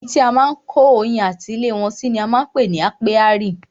Ibi tí à ń kó oyin ati ilé wọn si ni á ń pè ní ápíárì.